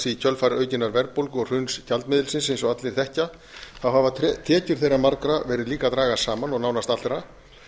í kjölfar aukinnar verðbólgu og hruns gjaldmiðilsins eins og allir þekkja hafa tekjur þeirra margra verið líka að dragast saman og nánast allra